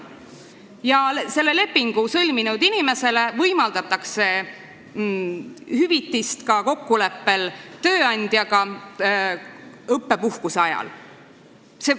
Ja selle lepingu sõlminud inimesele võimaldatakse kokkuleppel tööandjaga ka hüvitist õppepuhkuse ajal.